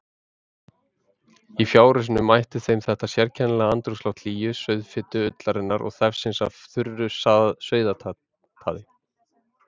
Í fjárhúsinu mætti þeim þetta sérkennilega andrúmsloft hlýju, sauðfitu ullarinnar og þefsins af þurru sauðataði.